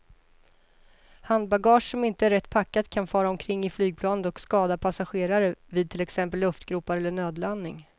Handbagage som inte är rätt packat kan fara omkring i flygplanet och skada passagerare vid till exempel luftgropar eller nödlandning.